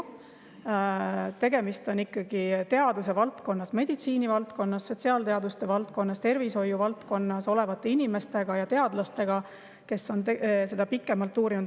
on tegemist ikkagi teaduse valdkonna, meditsiinivaldkonna, sotsiaalteaduste valdkonna, tervishoiuvaldkonna inimestega ja teadlastega, kes on seda pikalt uurinud.